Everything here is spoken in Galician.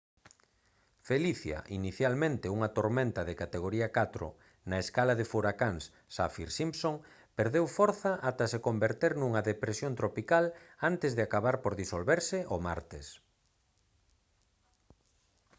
felicia inicialmente unha tormenta de categoría 4 na escala de furacáns saffir-simpson perdeu forza ata se converter nunha depresión tropical antes de acabar por disolverse o martes